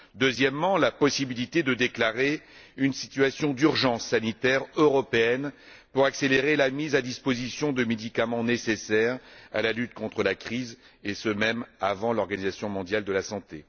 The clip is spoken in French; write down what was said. Deuxièmement, la possibilité de déclarer une situation d'urgence sanitaire européenne pour accélérer la mise à disposition de médicaments nécessaires à la lutte contre la crise, et ce même avant l'Organisation mondiale de la santé.